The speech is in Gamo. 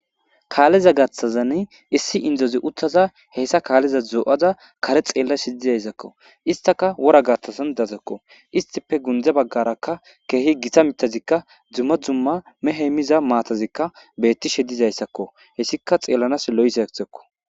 Kaaleza gaaththan issi inddozi uttada hessa kaaleza do'ada kare xeellashe dizayssako. Istakka wora gaaththan dizaytakko. Istippe gundde baggarakka keehi gita miththatikka dumma dumma mehey miza maatazikka beettishe dizayssakko. Hessikka xeellanas lo'izayssakko.